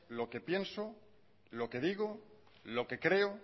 lo que pienso lo que digo lo que creo